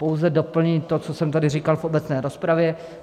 Pouze doplním to, co jsem tady říkal v obecné rozpravě.